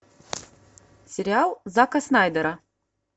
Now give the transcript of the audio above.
сериал зака снайдера